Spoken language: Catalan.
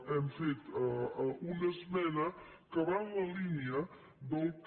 hem fet una esmena que va en la línia del que